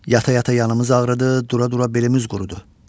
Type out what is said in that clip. Yata-yata yanımız ağrıdı, dura-dura belimiz qurudu.